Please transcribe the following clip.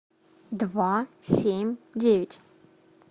два семь девять